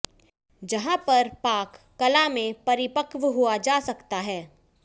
जहां पर पाक कला में परिपक्व हुआ जा सकता है